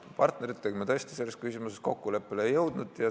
Partneritega me tõesti selles küsimuses kokkuleppele ei jõudnud.